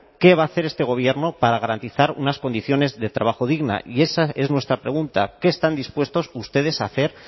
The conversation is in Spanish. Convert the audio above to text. qué va a hacer este gobierno para garantizar unas condiciones de trabajo dignas y esa es nuestra pregunta qué están dispuestos ustedes a hacer